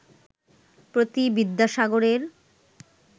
প্রতি বিদ্যাসাগরের